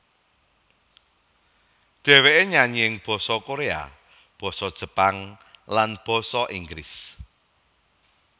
Dhèwèké nyanyi ing basa Koréa basa Jepang lan basa Inggris